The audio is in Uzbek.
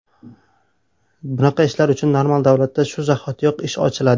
Bunaqa ishlar uchun normal davlatda shu zahotiyoq ish ochiladi.